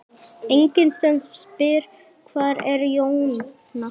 Enginn sem spyr: Hvar er Jóhann?